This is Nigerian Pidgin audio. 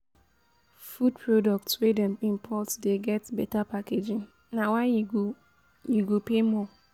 Food products wey dem import dey get beta packaging na why you go you go pay more.